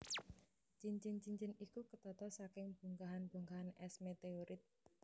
Cincin cincin iku ketata saking bongkahan bongkahan es meteorit